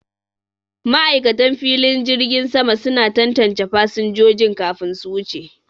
Ma'aikatan jirgin sama suna tantance fasinjojin kafin su wuce.